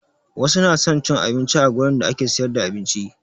Wasu na son cin abinci a gurin da ake siyar da abinci